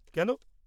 কেন?